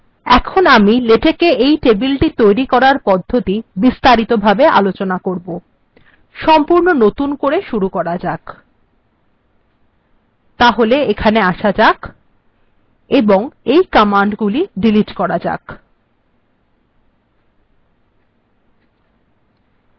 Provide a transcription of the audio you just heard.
এখন আমি লেটেকএ এই টেবিলটি তৈরী করার পদ্ধতি বিস্তারিতভাবে আলোচনা করব সম্পূর্ণ নতুন করে শুরু করা যাক তাহলে এখানে আসা যাক এবং এই কমান্ডগুলি ডিলিট্ করা যাক